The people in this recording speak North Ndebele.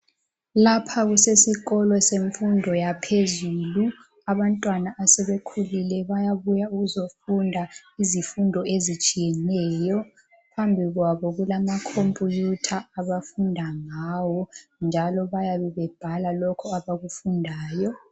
Lapha kusesikolo semfundo yaphezulu. Abantwana abasebekhulile bayabuya ukuzofunda izifundo ezitshiyeneyo. Phambi kwabo kulamakhompuyutha abafunda ngawo njalo bayabe bebhala lokho abakufundayo.